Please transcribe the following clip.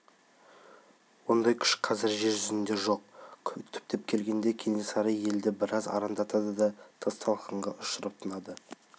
ондай күш қазір жер жүзінде жоқ түптеп келгенде кенесары елді біраз арандатады да тас-талқанға ұшырап тынады